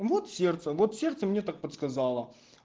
вот сердце вот сердце мне так подсказало